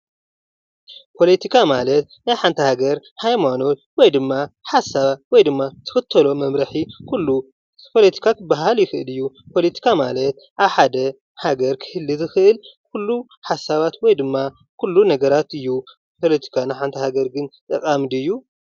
ፖለቲካ ማለት ናይ ሓንቲ ሃገር ሃይማኖት ወይ ድማ ሓሳብ ወይ ድማ እትክተሎ መምርሒ ኩሉ ፖለቲካ ክበሃል ይክእል እዩ። ፖለቲካ ማለት ኣብ ሓደ ሃገር ክህሉ ዝክእል ኩሉ ሓሳባት ወይ ድማ ኩሉ ነገራት እዩ። ፖለቲካ ንሓንቲ ሃገር ግን ጠቃሚ ድዩ?